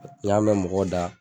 N y'a mɛn mɔgɔ da